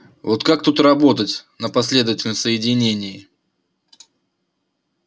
вот как тут работать на последовательном соединении